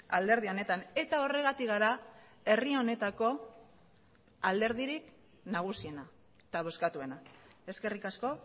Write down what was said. alderdi honetan eta horregatik gara herri honetako alderdirik nagusiena eta bozkatuena eskerrik asko